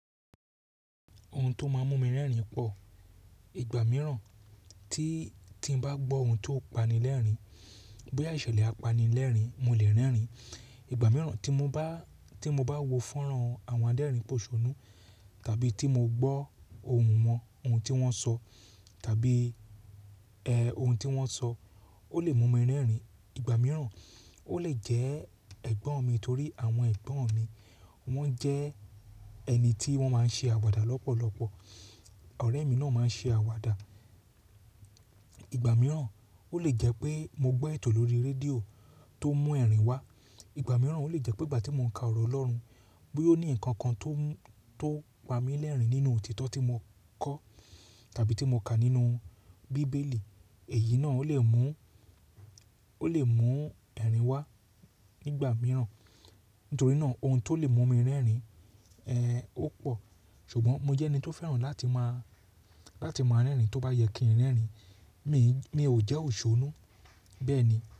Ohun tó máa ń mú mi rẹ́rìn pọ̀, ìgbà mìíràn tí-tí n bá gbọ́ ohun tó pani lẹ́rìn, bí iṣẹ̀lè apani lẹ́rìn, mo lè rẹ́rìn. Ìgbà mìíràn tí mo bá, tí mo bá wo fọ́nrán àwọn adẹ́rìn pòṣónú tàbí tí mo gbọ́ ohùn wọn, ohun tí wọ́n sọ tàbí, ohun tí wọ́n sọ, ó lè mú mi rẹ́rìn. Ìgbà mìíràn ó lè jẹ́ ẹ̀gbọ́n mi torí àwọn ẹ̀gbọ́n mi wọ́n jẹ́ ẹni tí wọ́n máa ń ṣe àwàdà lọ́pọ̀lọ́pọ̀. Ọ̀rẹ́ mi náà máa ń ṣe àwàdà. Ìgbà mìíràn ó lè jẹ́ pé mo gbọ́ ètò lórí rédíò tó mú ẹ̀rìn wá. Ìgbà mìíràn ó lè jẹ́ pé ìgbà tí mo ń ka ọ̀rọ̀ Ọlọ́run bí ó ní nǹkan kan tó ń, tó pa mi lẹ́rìn nínú òtítọ́ tí mo kọ́ tàbí tí mo kà nínú bíbélì, èyí náà ó lè mú, ó lè mú ẹ̀rìn wá nígbà mìíràn. Nítorí náà ohun tó lè mú mi rẹ́rìn, ó pọ̀. Ṣùgbọ́n mo jẹ́ ẹni tó fẹ́ràn láti máa, láti máa rẹ́rìn tó bá yẹ kí n rẹ́rìn. Mi, mi ò jẹ́ òṣónú. Bẹ́ẹ̀ ni.